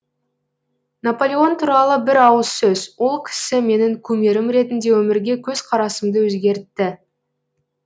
наполеон туралы бір ауыз сөз ол кісі менің кумирім ретінде өмірге көзқарасымды өзгертті